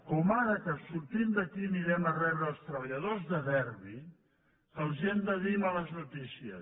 com ara que sortint d’aquí anirem a rebre els treballadors de derbi que els hem de dir males notícies